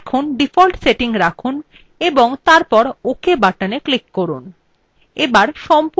তাই default setting রাখুন এবং তারপর ok button click করুন